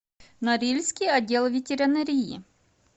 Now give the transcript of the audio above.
норильский отдел ветеринарии